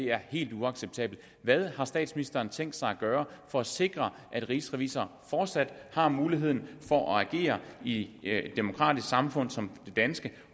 er helt uacceptabelt hvad har statsministeren tænkt sig at gøre for at sikre at rigsrevisor fortsat har muligheden for at agere i et demokratisk samfund som det danske